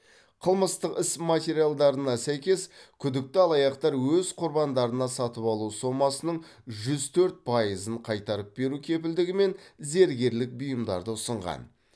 қылмыстық іс материалдарына сәйкес күдікті алаяқтар өз құрбандарына сатып алу сомасының жүз төрт пайызын қайтарып беру кепілдігімен зергерлік бұйымдарды ұсынған